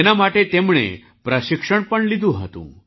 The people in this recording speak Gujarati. તેના માટે તેમણે પ્રશિક્ષણ પણ લીધું હતું